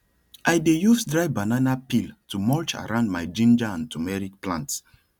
i dey use dry banana peel to mulch around my ginger and turmeric plants